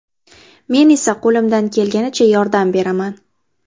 Men esa qo‘limdan kelganicha yordam beraman.